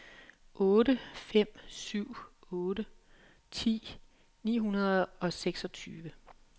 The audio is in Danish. otte fem syv otte ti ni hundrede og seksogtyve